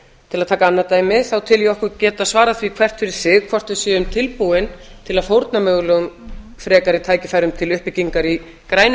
til að taka annað dæmi þá tel ég okkur geta svarað því hvert fyrir sig hvort við séum tilbúin til að fórna mögulegum frekari tækifærum til uppbyggingar í grænum